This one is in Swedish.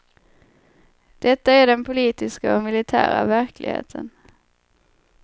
Detta är den politiska och militära verkligheten.